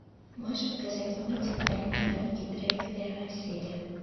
можешь показать мультик тайны фрэнки дрейк первая серия